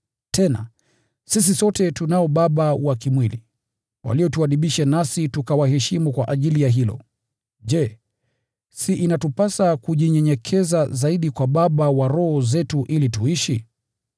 Tena, sisi sote tunao baba wa kimwili, waliotuadibisha nasi tukawaheshimu kwa ajili ya hilo. Je, si inatupasa kujinyenyekeza zaidi kwa Baba wa roho zetu ili tuishi?